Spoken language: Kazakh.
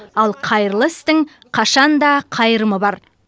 ал қайырлы істің қашан да қайырымы бар